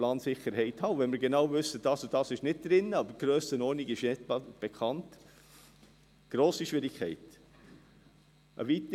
Wir haben nun gewissermassen noch die Chance, gewisse Sachen zu korrigieren.